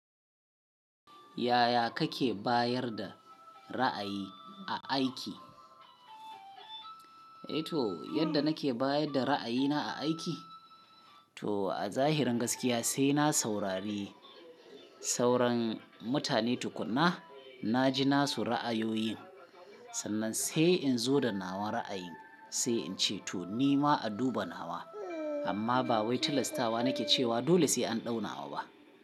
Yaya kake bayar da ra'ayi a aiki? Eh to yadda nake bayar da ra'ayina a aiki? Toh a zahirin gaskiya sai na saurari sauran mutane tukuna, na ji nasu ra'ayoyin, sannan sai in zo da nawan ra'ayin sai in ce to ni ma a duba nawa. Amma ba wai tilastawa nake cewa dole sai an ɗau nawa ba.